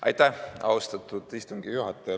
Aitäh, austatud istungi juhataja!